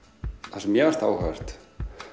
það sem mér fannst áhugavert